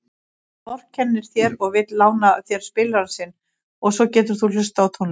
Hann vorkennir þér og vill lána þér spilarann sinn svo þú getir hlustað á tónlist.